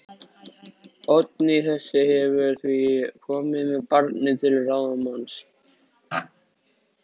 Oddný þessi hefur því komið með barnið til ráðsmanns míns